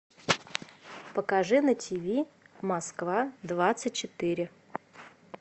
покажи на тиви москва двадцать четыре